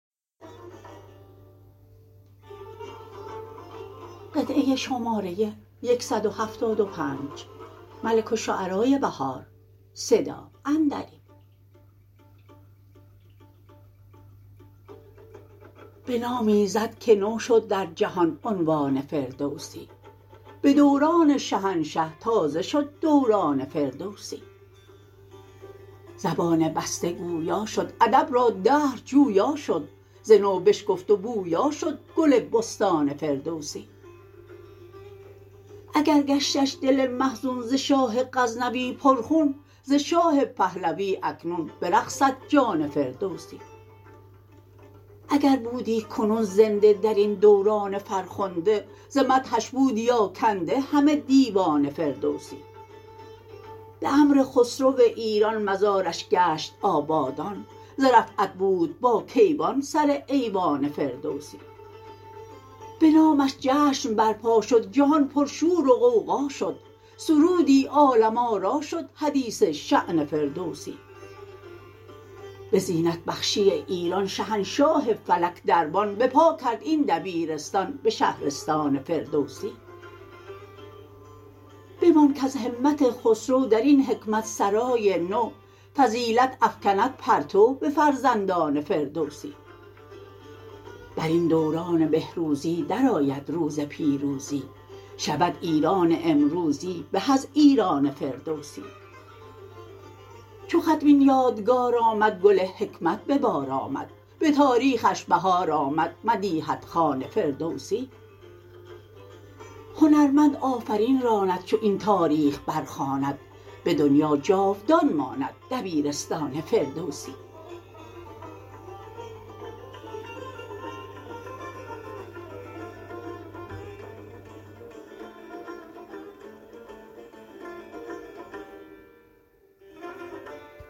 بنام ایزد که نو شد در جهان عنوان فردوسی به دوران شهنشه تازه شد دوران فردوسی زبان بسته گوبا شد ادب را دهر جویا شد ز نو بشکفت و بویا شد گل بستان فردوسی اگر گشتش دل محزون ز شاه غزنوی پر خون ز شاه پهلوی اکنون برقصد جان فردوسی اگر بودی کنون زنده درین دوران فرخنده ز مدحش بودی آکنده همه دیوان فردوسی به امر خسرو ایران مزارش گشت آبادان ز رفعت بود با کیوان سر ایوان فردوسی بنامش جشن برپا شد جهان پرشور و غوغا شد سرودی عالم آرا شد حدیث شأن فردوسی به زینت بخشی ایران شهنشاه فلک دربان بپا کرد این دبیرستان به شهرستان فردوسی بمان کز همت خسرو درین حکمت سرای نو فضیلت افکند پرتو به فرزندان فردوسی برین دوران بهروزی درآید روز پیروزی شود ایران امروزی به از ایران فردوسی چو ختم این یادگار آمد گل حکمت ببار آمد به تاریخش بهار آمد مدیحت خوان فردوسی هنرمند آفرین راند چو این تاریخ برخواند به دنیا جاودان ماند دبیرستان فردوسی